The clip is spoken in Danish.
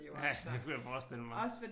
Ja det kunne jeg forestille mig